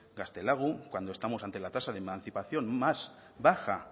gaztelagun cuando estamos ante la tasa de emancipación más baja